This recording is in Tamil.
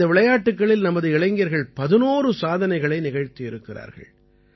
இந்த விளையாட்டுக்களில் நமது இளைஞர்கள் 11 சாதனைகளை நிகழ்த்தியிருக்கிறார்கள்